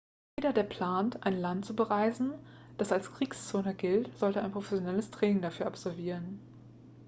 jeder der plant ein land zu bereisen das als kriegszone gilt sollte ein professionelles training dafür absolvieren